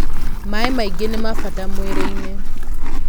maĩ maingi nima bata mwĩrĩ-ini